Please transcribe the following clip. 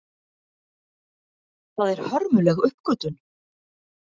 Það er hörmuleg uppgötvun.